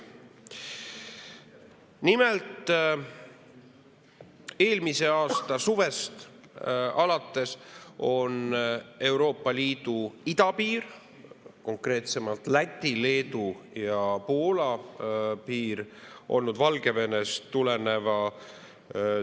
Nimelt, eelmise aasta suvest alates on Euroopa Liidu idapiir, konkreetsemalt Läti, Leedu ja Poola piir olnud Valgevenest tuleneva ründe all.